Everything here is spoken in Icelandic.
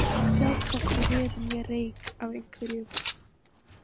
Að sjá hvorki veður né reyk af einhverju